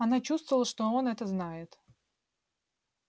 она чувствовала что он это знает